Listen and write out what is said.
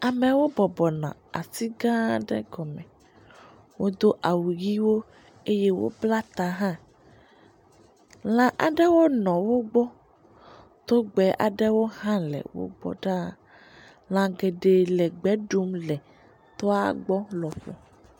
Amewo bɔbɔ nɔ ati gã aɖe gɔme, wodo awu ʋɛ̃wo eye wobla ta hã, lã aɖewo nɔ wo gbɔ, togbɛ aɖewo hã le wo gbɔ ɖaa, lã geɖe le gbe ɖum le toa gbɔ lɔƒo.